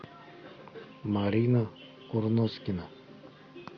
марина курноскина